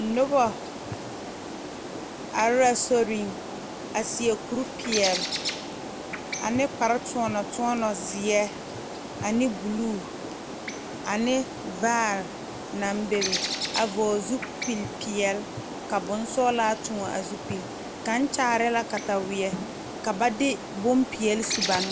Nobɔ are la soriŋ a seɛ kuripeɛle ane kpare toɔnɔ toɔnɔ zeɛ ane bluu ane vaare naŋ bebe a vɔɔle zupil peɛle ka bonsɔglaa tõɔ a zupil kaŋ kyaare la kataweɛ ka ba de bonpeɛle su ba n.